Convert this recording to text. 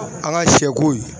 An ka siyɛkow.